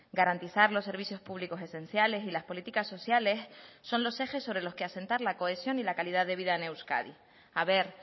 garantizar los servicios públicos esenciales y las políticas sociales son los ejes sobre los que asentar la cohesión y la calidad de vida en euskadi a ver